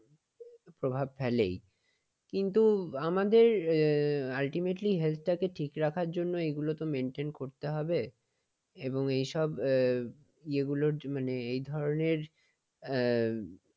প্রভাব ফেলেই। কিন্তু আমাদের ultimately health টাকে ঠিক রাখার জন্য এগুলো তো maintain করতে হবে এবং এসব এ যেগুলো এই ধরনের এ